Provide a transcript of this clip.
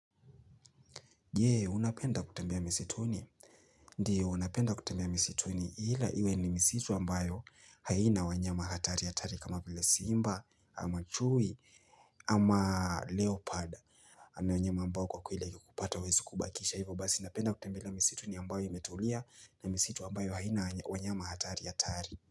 Je unapenda kutembea misituni ndio unapenda kutembea misituni ila iwe ni misi tuni ambayo haina wanyama hatari hatari kama vile simba ama chui ama leopard ama wanyama ambao wakikupata hawawezi kubakisha hivyo basi unapenda kutembelea misituni ambayo imetulia na misituni ambayo haina wanyama hatari hatari.